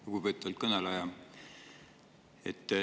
Lugupeetud kõneleja!